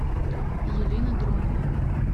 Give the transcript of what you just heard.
елена дронова